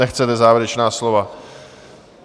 Nechcete závěrečná slova.